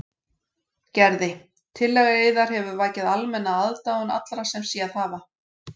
Gerði: Tillaga yðar hefur vakið almenna aðdáun allra sem séð hafa.